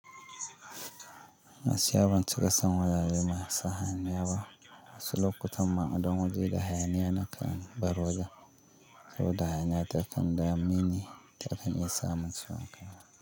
Masu yawon cika son wajaje masu hayaniya ba wasu lokutan ma don waje da hayaniya na kan bar waje, saboda hayaniya ta kan dame ni ta kan isa maciwon kai.